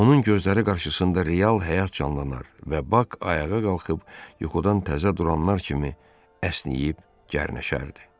Onun gözləri qarşısında real həyat canlanar və Bak ayağa qalxıb yuxudan təzə duranlar kimi əsnəyib gərnəşərdi.